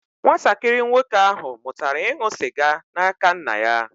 Nwatakịrị nwoke ahụ mụtara ịṅụ sịga n'aka nna ya.